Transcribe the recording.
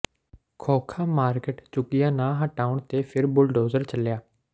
ਖੋਖਾ market ਝੁੱਗੀਆਂ ਨਾ ਹਟਾਉਣ ਤੇ ਫਿਰ ਬੁਲਡੋਜ਼ਰ ਚੱਲਿਆ